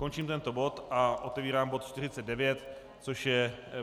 Končím tento bod a otevírám bod 49, což je